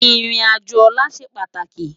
Irin ájó òlà sé pátáki